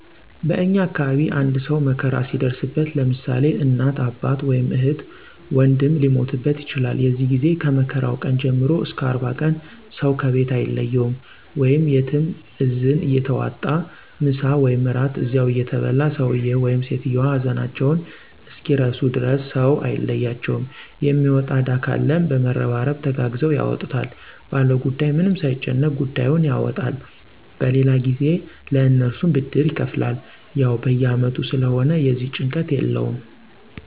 በእኛ አካባቢ አንድ ሰው መከራ ሲደርስበት ለምሳሌ እናት፣ አባት ወይም እህት ወንድም ሊሞትበት ይችላል የዚህ ጊዜ ከመከራው ቀን ጀምሮ እስከ 40 ቀን ሰው ከቤት አይለየውም/ያትም እዝን እየተዋጣ ምሳ ወይም እራት እዚያው እየተበላ ሰውየው/ሰትዮዋ ሀዘናቸውን እስኪረሱ ድረስ ሰው አይለያቸውም የሚወጣ እዳ ካለም በመረባረብ ተጋግዘው ያወጡታል ባለጉዳዩ ምንም ሳይጨነቅ ጉዳዩን ያወጣል በሌላ ጊዜ ለእነሱም ብድር ይከፍላል። ያው በየ አመቱ ስለሆነ የዚህ ጭንቀት የለውም።